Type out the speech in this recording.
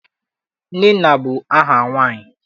Nnenna bụ aha nwaanyị.